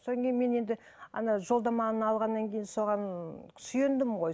содан кейін мен енді ана жолдаманы алғаннан кейін соған сүйендім ғой